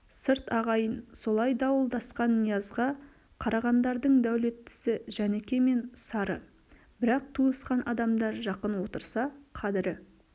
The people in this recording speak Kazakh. сырт ағайын солай дуылдасқан ниязға қарағандардың дәулеттісі жәніке мен сары бірақ туысқан адамдар жақын отырса қадірі